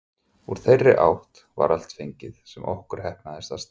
Úr þeirri átt var allt fengið, sem okkur heppnaðist að stæla.